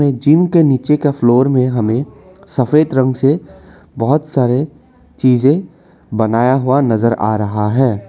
Gym के नीचे का फ्लोर में हमें सफेद रंग से बहोत सारे चीजे बनाया हुआ नजर आ रहा है।